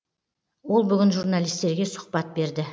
ол бүгін журналистерге сұхбат берді